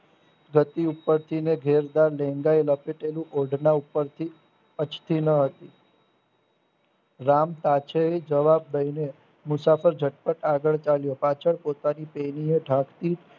વતી ઉપર્થીને ઘેરદાર લેણદાર લખે તેનું ઓઢણા ઉપરથી અછતી નહતી રામ પાંચેય જવાબ દઈને મુસાફર જપ્ત આગળ ચાલ્યા પાછળ પોતાની પેલીને ઢાંકતી